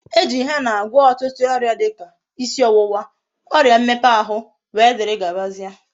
E ji henna agwo otutu oria dika isi owuwa, oria mmepe ahu wdgz.